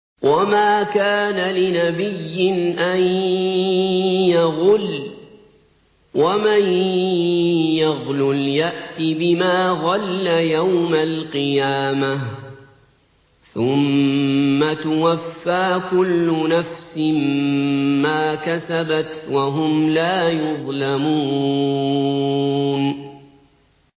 وَمَا كَانَ لِنَبِيٍّ أَن يَغُلَّ ۚ وَمَن يَغْلُلْ يَأْتِ بِمَا غَلَّ يَوْمَ الْقِيَامَةِ ۚ ثُمَّ تُوَفَّىٰ كُلُّ نَفْسٍ مَّا كَسَبَتْ وَهُمْ لَا يُظْلَمُونَ